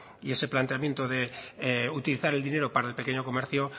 y ese planteamiento de utilizar el dinero para el pequeño comercio